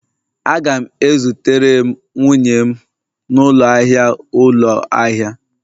Aga'm e zutere m nwunye m n'ụlọ ahịa ụlọ ahịa